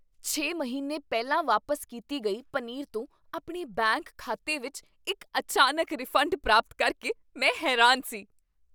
ਛੇ ਮਹੀਨੇ ਪਹਿਲਾਂ ਵਾਪਸ ਕੀਤੀ ਗਈ ਪਨੀਰ ਤੋਂ ਆਪਣੇ ਬੈਂਕ ਖਾਤੇ ਵਿੱਚ ਇੱਕ ਅਚਾਨਕ ਰਿਫੰਡ ਪ੍ਰਾਪਤ ਕਰਕੇ ਮੈਂ ਹੈਰਾਨ ਸੀ